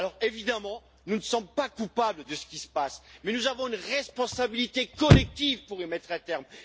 Évidemment, nous ne sommes pas coupables de ce qui se passe, mais nous avons la responsabilité collective d'y mettre un terme.